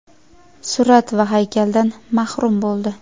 surat va haykaldan mahrum bo‘ldi.